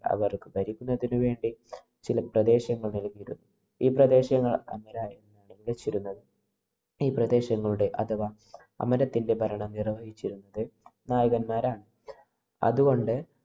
അവര്‍ക്ക് ഭരിക്കുന്നതിന് വേണ്ടി ചില പ്രദേശങ്ങള്‍ നല്‍കിയിരുന്നു. ഈ പ്രദേശങ്ങള്‍ അമരനായകന്മാരാണ് ഭരിച്ചിരുന്നത്. ഈ പ്രദേശങ്ങളുടെ അഥവാ അമരത്തിന്‍റെ ഭരണം നിര്‍വഹിച്ചിരുന്നത് നായകന്മാരാണ്. അത് കൊണ്ട്